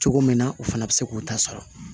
Cogo min na o fana bɛ se k'o ta sɔrɔ